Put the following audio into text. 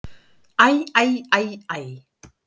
Æ, æ, æ, æ!